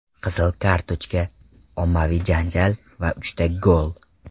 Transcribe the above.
Qizil kartochka, ommaviy janjal va uchta gol.